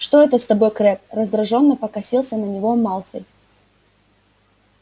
что это с тобой крэбб раздражённо покосился на него малфой